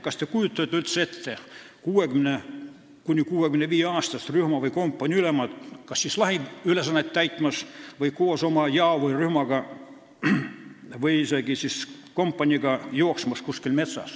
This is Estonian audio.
Kas te kujutate üldse ette 60–65-aastast rühma- või kompaniiülemat kas lahinguülesannet täitmas või koos oma jao või rühmaga või isegi kompaniiga kuskil metsas jooksmas?